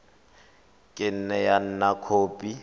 ka nne ya nna khopi